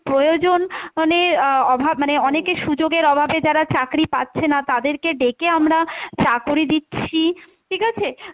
প্রয়োজন মানে আহ অভাব মানে অনেকে সুযোগের অভাবে যারা চাকরি পাচ্ছে না তাদেরকে ডেকে আমরা চাকরি দিচ্ছি, ঠিক আছে?